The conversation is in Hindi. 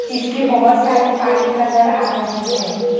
इसके बहोत सारे पाइप नजर आ रहे हैं।